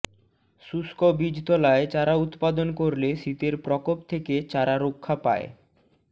শুষ্ক বীজতলায় চারা উৎপাদন করলে শীতের প্রকোপ থেকে চারা রক্ষা পায়